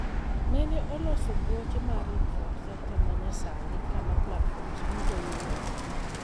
Nene oloso boche mar infrustructure manyasani kama platforms duto iyudoe.